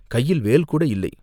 கையில் வேல்கூட இல்லை.